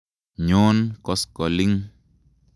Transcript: Nyon koskoling'.